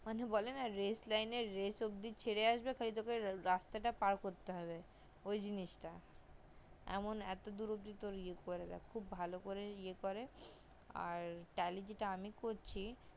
মানুষ বলে না যে race line এ race টাও অব্দি ছেড়ে আসবে তোকে শুধু রাস্তা টা পার করতে হবে ওই জিনিস তা এমন এত দূর করে দেয় এত তোকে ইয়ে করে দেয় এত ভালো করে নিয়ে করে আর tally যেটা আমি করছি